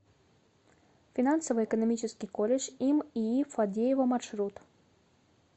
финансово экономический колледж им ии фадеева маршрут